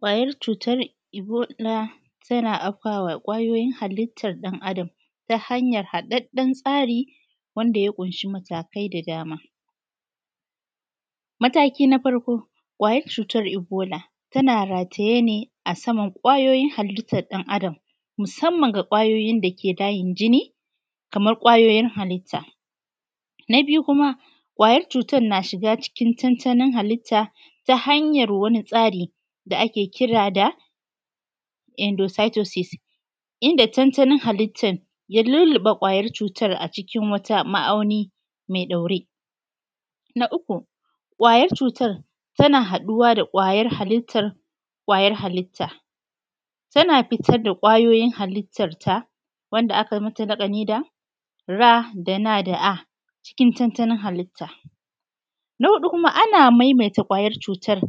Ƙwayar cutar Ebola ta na afkawa ƙwayoyin halittan ɗan adam ta hanyan haɗaɗɗen tsari wanda ya ƙunshi matakai da dama. Mataki na farko, ƙwayar cutar Ebola ta na rataye ne a saman ƙwayoyin haliyyan ɗan adam, musamman ga ƙwayoyin da ke layin jini. Kaman mataki na biu, kuma ƙwayar cutar na shiga cancanin halitta ta hanyan wani tsari da ake kira da endositosis, inda ta nan halittan ya lulluɓe ƙwayar cutar a cikin wata ma’auni mai ɗaure. Na uƙu, ƙwayar cutar ta na haɗuwa da ƙwayar halitta, ta na fitar da ƙwayoyin halittarta wanda akai mata laƙani da RNA cikin tantanin halitta. Na huɗu, kuma ana maimaita ƙwayan cutar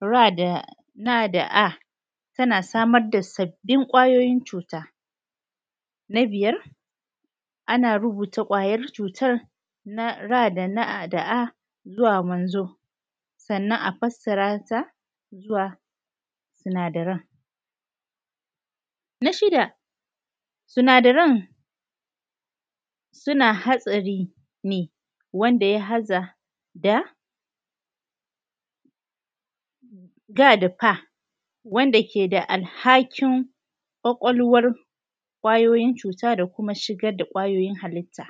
RNA, ta na samar da sabbin ƙwayoyin cuta. Na biyar, ana rubuta ƙwayar cutar RNA zuwa wanzo, sannan a fasarata zuwa sinadaran. Na shida, sinadaran su na hatsari ne, wanda ya haɗa da DF, wanda ke da alhaƙin ƙwakwalwar ƙwayoyin cuta, da kuma shigar da ƙwayoyin halitta.